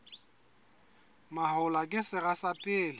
mahola ke sera sa pele